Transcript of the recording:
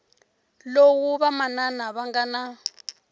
lowu vamanana va nga na